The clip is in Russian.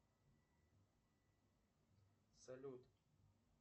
салют